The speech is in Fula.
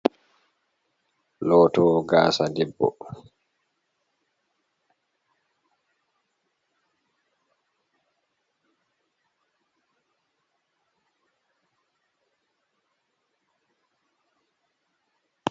Lotowo gaasa debbo.